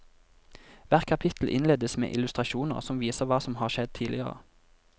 Hvert kapittel innledes med illustrasjoner som viser hva som har skjedd tidligere.